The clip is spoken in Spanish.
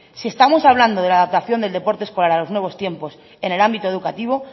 si estamos hablando de la adaptación del deporte escolar a los nuevos tiempos en el ámbito educativo